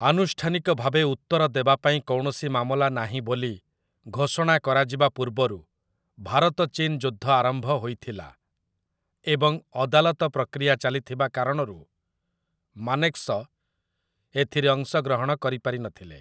ଆନୁଷ୍ଠାନିକ ଭାବେ 'ଉତ୍ତର ଦେବା ପାଇଁ କୌଣସି ମାମଲା ନାହିଁ' ବୋଲି ଘୋଷଣା କରାଯିବା ପୂର୍ବରୁ, ଭାରତ ଚୀନ ଯୁଦ୍ଧ ଆରମ୍ଭ ହୋଇଥିଲା, ଏବଂ ଅଦାଲତ ପ୍ରକ୍ରିୟା ଚାଲିଥିବା କାରଣରୁ ମାନେକ୍‌ଶ ଏଥିରେ ଅଂଶଗ୍ରହଣ କରିପାରିନଥିଲେ ।